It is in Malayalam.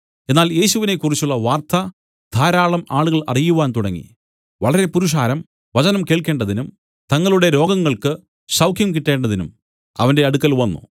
എന്നാൽ യേശുവിനെക്കുറിച്ചുള്ള വാർത്ത ധാരാളം ആളുകൾ അറിയുവാൻ തുടങ്ങി വളരെ പുരുഷാരം വചനം കേൾക്കേണ്ടതിനും തങ്ങളുടെ രോഗങ്ങൾക്കു സൌഖ്യം കിട്ടേണ്ടതിനും അവന്റെ അടുക്കൽ വന്നു